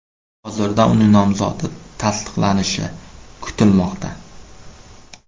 Hozirda uning nomzodi tasdiqlanishi kutilmoqda.